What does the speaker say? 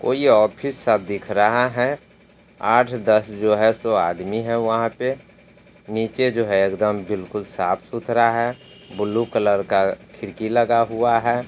कोई ऑफिस सा दिख रहा है आठ दस जो है सो आदमी है वहां पे निचे जो है एकदम बिलकुल साफ़-सुथरा है ब्लू कलर का खिड़की लगा हुआ है।